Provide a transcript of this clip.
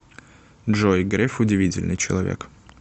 джой греф удивительный человек